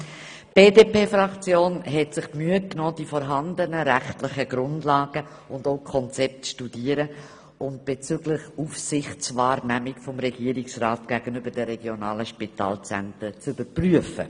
Die BDP-Fraktion hat die rechtlichen Grundlagen und Konzepte studiert und bezüglich Aufsichtswahrnehmung des Regierungsrats gegenüber den regionalen Spitalzentren überprüft.